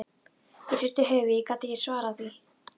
Ég hristi höfuðið, ég gat ekki svarað því.